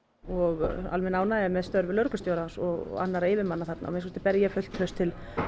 og almenn ánægja með störf lögreglustjórans og annarra yfirmanna þarna að minnsta kosti ber ég fullt traust til